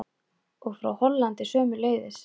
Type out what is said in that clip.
Og frá Hollandi sömuleiðis.